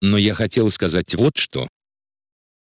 но я хотел сказать вот что